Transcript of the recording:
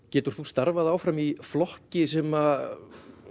getur þú starfað áfram í flokki sem